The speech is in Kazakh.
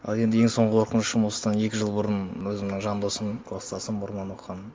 ал енді ең соңғы қорқынышым осыдан екі жыл бұрын өзімнің жан досым класстасым бұрыннан оқыған